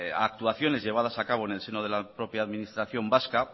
actuaciones llevadas a cabo en el seno de la propia administración vasca